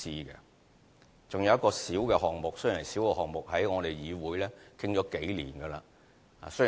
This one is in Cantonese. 還有一個小項目，雖然是一個小項目，但在議會已討論了數年。